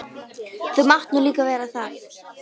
Þú mátt nú líka vera það.